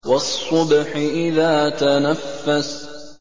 وَالصُّبْحِ إِذَا تَنَفَّسَ